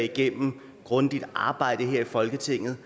gennem grundigt arbejde her i folketinget